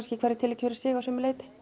í hverju tilviki fyrir sig að sumu leyti